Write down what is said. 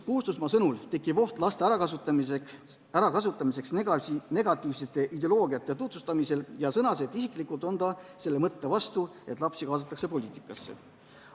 Puustusmaa sõnul tekib oht laste ärakasutamiseks negatiivsete ideoloogiate tutvustamisel ja tema on laste poliitikasse kaasamise vastu.